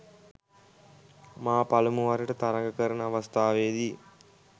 මා පළමුවරට තරග කරන අවස්ථාවේදී